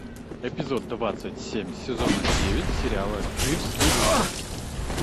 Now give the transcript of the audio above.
эпизод двадцать семь сезона девять сериала дживс и вустер